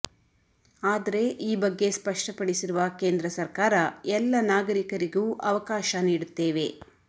ಆದರೆ ಈ ಬಗ್ಗೆ ಸ್ಪಷ್ಟಪಡಿಸಿರುವ ಕೇಂದ್ರ ಸರಕಾರ ಎಲ್ಲ ನಾಗರಿಕರಿಗೂ ಅವಕಾಶ ನೀಡುತ್ತೇವೆ